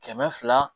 Kɛmɛ fila